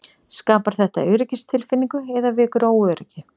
Skapar þetta öryggistilfinningu eða vekur óöryggi?